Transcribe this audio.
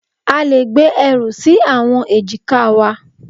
A le gbé ẹrù sí àwọn èjìká wa.